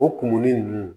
O kumuni nunnu